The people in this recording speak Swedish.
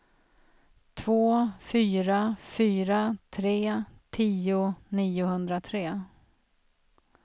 två fyra fyra tre tio niohundratre